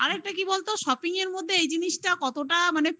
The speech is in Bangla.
আর একটা কি বলতো? shopping মধ্যে এই জিনিসটা কতটা মানে